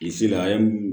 Bilisi la an ye mun